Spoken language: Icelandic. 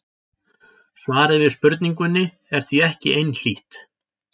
Svarið við spurningunni er því ekki einhlítt.